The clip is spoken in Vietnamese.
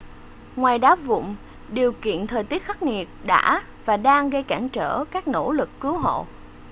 ngoài đá vụn điều kiện thời tiết khắc nghiệt đã và đang gây cản trở các nỗ lực cứu hộ